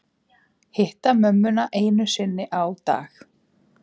Hitta mömmuna einu sinni á dag